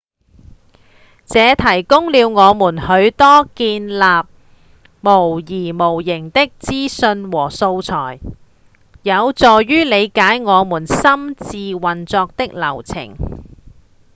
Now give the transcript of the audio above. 這提供了我們許多建立模擬模型的資訊和素材有助於瞭解我們心智運作的流程